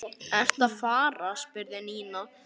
Ertu að fara? spurði Nína.